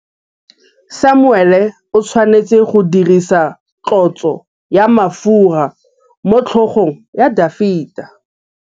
Samuele o tshwanetse go dirisa tlotsô ya mafura motlhôgong ya Dafita.